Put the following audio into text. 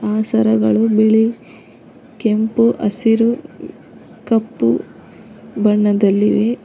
ಆ ಸರಗಳು ಬಿಳಿ ಕೆಂಪು ಹಸಿರು ಕಪ್ಪು ಬಣ್ಣದಲ್ಲಿವೆ.